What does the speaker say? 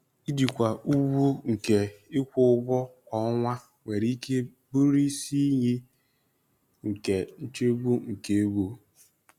Ijikwa ugwu nke ịkwụ ụgwọ kwa ọnwa nwere ike bụrụ isi iyi nke nchegbu nke ego.